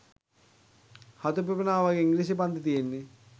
හතු පිපෙනව වගේ ඉංග්‍රීසි පන්ති තියෙන්නේ.